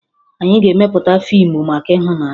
Anyị ga-emepụta fiimu maka ịhụnanya